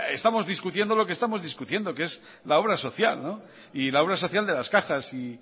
estamos discutiendo lo que estamos discutiendo que es la obra social y la obra social de las cajas